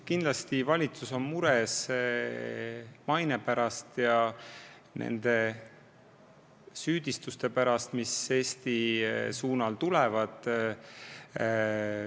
Kindlasti valitsus on mures riigi maine pärast ja nende süüdistuste pärast, mis Eesti pihta tulevad.